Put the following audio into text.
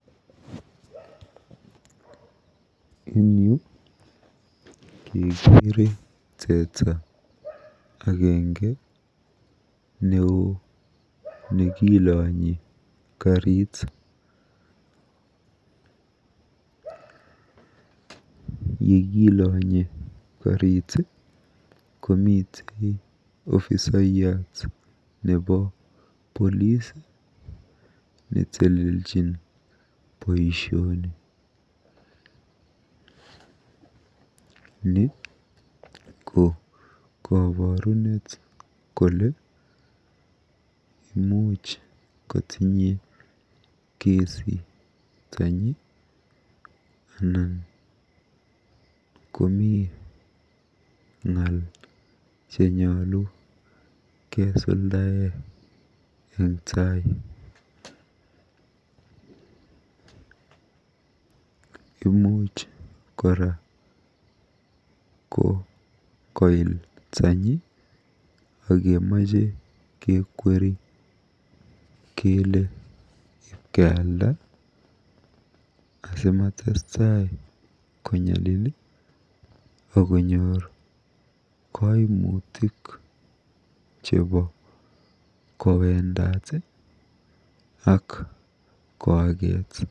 Eng yu keekere teta agenge neoo nekilonyi karit. Yekilonyi karit komite ofisaiyat nebo Polis neteleljin boisioni. Ni ko koborunet kole imuch kotinye kesi taanyi anan imuch anan komi ng'al che koyoche kesuldae eng tai. Imuch kora ko koil tanyi akemache kekweri kele kekweri kealda asimatestai konyalil akonyor kaimutik chebo kowendot akoaket.